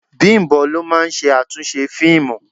Bimbo ló máa ń ṣe àtúnṣe fíìmù.